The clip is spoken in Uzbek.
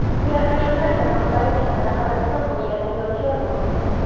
Ular qachonlardir maqbara yaqinida qabriston bo‘lganini yodga olmoqda.